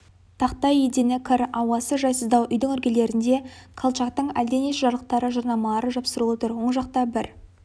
тақтай едені кір ауасы жайсыздау үйдің іргелерінде колчактың әлденеше жарлықтары жарнамалары жапсырулы тұр оң жақта бір